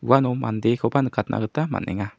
uano mandekoba nikatna gita man·enga.